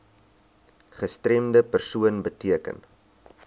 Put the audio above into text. gestremde persoon beteken